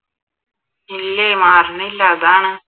ഇല്ലേ മാറാണില്ല അതാണ്